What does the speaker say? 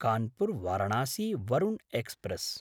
कानपुर्–वाराणसी Varuna express